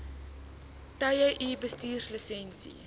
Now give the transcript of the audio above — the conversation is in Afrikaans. tye u bestuurslisensie